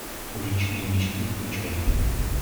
уличные мечты включай